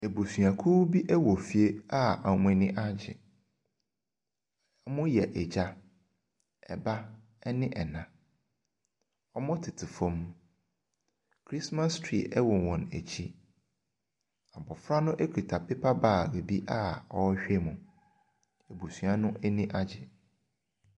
Abusuakuo bi wɔ fie a wɔn ani agye. Wɔyɛ agya, ba ne ɛna. Wɔtete fam. Christmas tree wɔn wɔn akyi. Abɔfra no kita paper bag bi a ɔrehwɛ mu. Abusua no ani agye.